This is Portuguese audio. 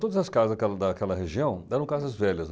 Todas as casas daquela daquela região eram casas velhas.